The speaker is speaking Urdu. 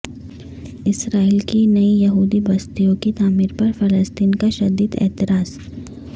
اسرائیل کی نئی یہودی بستیوں کی تعمیرپر فلسطین کا شدید اعتراض